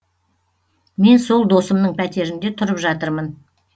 мен сол досымның пәтерінде тұрып жатырмын